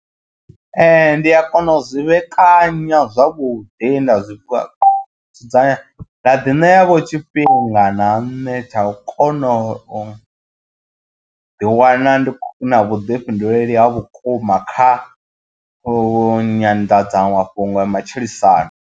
Ndi a kona uzwi vhekanya zwavhuḓi nda zwi fha dzudzanya nda ḓi ṋea vho tshifhinga na nṋe tsha u kona u ḓi wana ndi na vhuḓifhinduleli ha vhukuma kha u nyanḓadzamafhungo ya matshilisano.